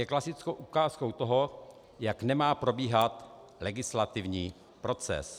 Je klasickou ukázkou toho, jak nemá probíhat legislativní proces.